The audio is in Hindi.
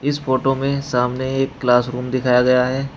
इस फोटो में सामने एक क्लास रूम दिखाया गया है।